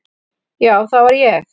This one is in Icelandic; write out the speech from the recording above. Já, það var ég.